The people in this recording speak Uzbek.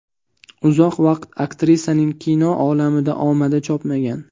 Uzoq vaqt aktrisaning kino olamida omadi chopmagan.